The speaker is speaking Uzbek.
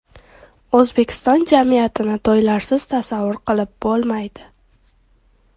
O‘zbekiston jamiyatini to‘ylarsiz tasavvur qilib bo‘lmaydi.